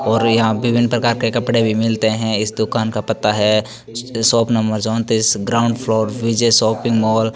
और यहां पे कई प्रकार के कपड़े भी मिलते हैं इस दुकान का पता है शॉप नंबर चौंतीस ground floor Vijay softy mall.